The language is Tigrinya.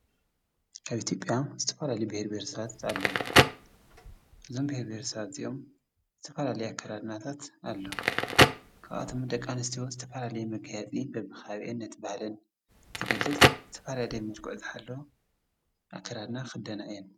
ኣብ አትዮጲያ ዝተፍላለዩ ብሄር ብሄረሰባት ኣሉዉ ዞም ብሄረ ብሄረሰባት እዚኦም ዝተፋላለዮ ኣከዳድናታት ኣለዉ ካብኣቶም ደቂኣንስቲዩ ዝተፈላለየ መገያፂ በብኻብአን ነቲ ባህለን ዝገልጽ ዝተፋለለዩያ መልኩዑ ዝሓለወ ኣከዳድድና ይኽደና እየን።